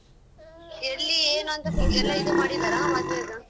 ಎಲ್ಲಿ ಏನುಂತ ಎಲ್ಲ ಇದು ಮಾಡಿದ್ದರಾ ಮದ್ವೆದು?